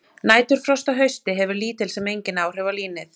Næturfrost að hausti hefur lítil sem engin áhrif á línið.